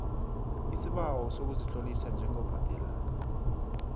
isibawo sokuzitlolisa njengobhadela